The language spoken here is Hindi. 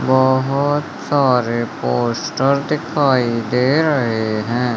बहुत सारे पोस्टर दिखाई दे रहे हैं।